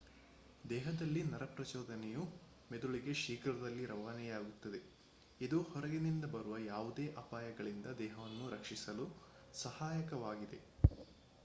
ದೇಹದಲ್ಲಿ ನರ ಪ್ರಚೋದನೆಯು ಮೆದುಳಿಗೆ ಶೀಘ್ರದಲ್ಲಿ ರವಾನೆಯಾಗುತ್ತದೆ ಇದು ಹೊರಗಿನಿಂದ ಬರುವ ಯಾವುದೇ ಅಪಾಯಗಳಿಂದ ದೇಹವನ್ನು ರಕ್ಷಿಸಲು ಸಹಾಯಕವಾಗಿದೆ